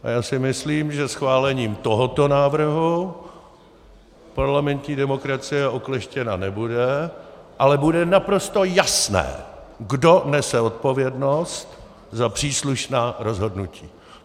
A já si myslím, že schválením tohoto návrhu parlamentní demokracie okleštěna nebude, ale bude naprosto jasné, kdo nese odpovědnost za příslušná rozhodnutí.